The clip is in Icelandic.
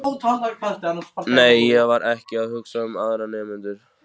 Nei, ég var ekki að hugsa um aðra nemendur.